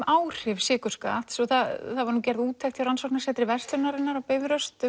áhrif sykurskatts það var gerð úttekt á Rannsóknarsetri verslunarinnar á Bifröst